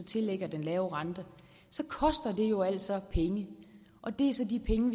tillægger den lave rente så koster det jo altså penge og det er så de penge